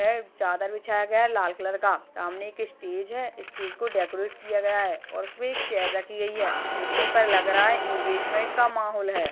चादर बिछाया गया है लाल कलर का सामने एक स्टेज है स्टेज को डेकोरेट किया गया है और उसपे एक चेयर रखी गई है देखने पर लग रहा है इंगेजमेंट का माहौल है।